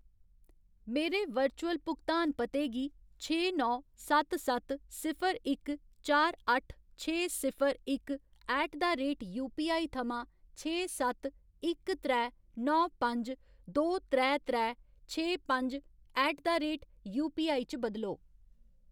मेरे वर्चुअल भुगतान पते गी छे नौ सत्त सत्त सिफर इक चार अट्ठ छे सिफर इक ऐट द रेट यूपीआई थमां छे सत्त इक त्रै नौ पंज दो त्रै त्रै छे पंज ऐट द रेट यूपीआई च बदलो।